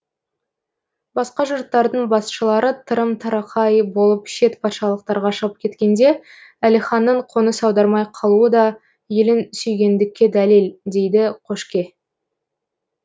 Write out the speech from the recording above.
басқа жұрттардың басшылары тырым тырақай болып шет патшалықтарға шығып кеткенде әлиханның қоныс аудармай қалуы да елін сүйгендікке дәлел дейді қошке